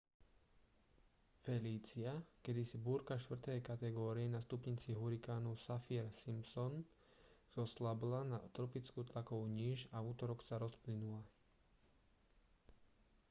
felícia kedysi búrka 4. kategórie na stupnici hurikánu saffir-simpson zoslabla na tropickú tlakovú níž a v utorok sa rozplynula